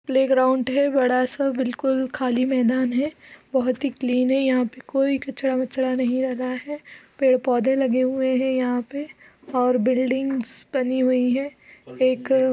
Play ground है बड़ा-सा। बिल्कुल खाली मैदान है। बहोत ही क्लीन है। यहाँ पे कोई कचडा-वचडा नही डला है। पेड़-पौधे लगे हुए हैं यहाँ पे और बिल्डिंगस बनी हुई है। एक --